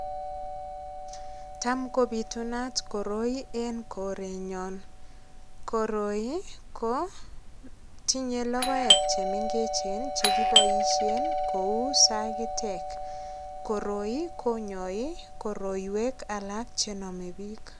Tam kopitunat koroi en korenyon. Koroi ko tinye logoek chemengechen chekiboisien kou sagitek. Koroi konyoi koroiywek alak chenome biik.